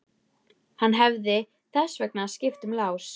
Hann hefði þess vegna skipt um lás.